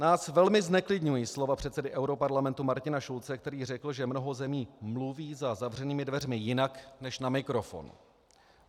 Nás velmi zneklidňují slova předsedy europarlamentu Martina Schulze, který řekl, že mnoho zemí mluví za zavřenými dveřmi jinak než na mikrofon.